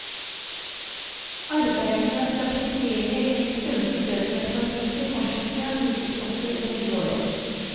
Arbeidet med å stabilisere eller helst øke søtmelkforbruket fortsetter naturligvis også i det nye året.